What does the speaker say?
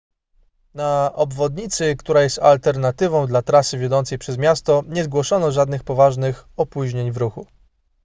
na obwodnicy która jest alternatywą dla trasy wiodącej przez miasto nie zgłoszono żadnych poważnych opóźnień w ruchu